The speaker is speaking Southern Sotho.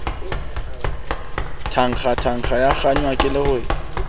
tangtang ya kgangwa ke lerole